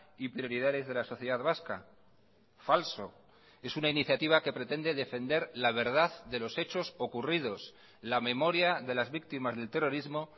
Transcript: y prioridades de la sociedad vasca falso es una iniciativa que pretende defender la verdad de los hechos ocurridos la memoria de las víctimas del terrorismo